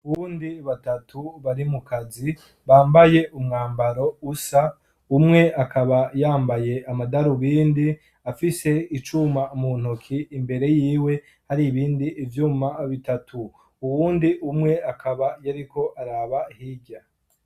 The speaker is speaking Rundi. uwundi batatu bari mu kazi bambaye umwambaro usa umwe akaba yambaye amadarubindi afise icuma mu ntoki imbere yiwe hari ibindi vyuma bitatu uwundi umwe akaba yariko araba hirya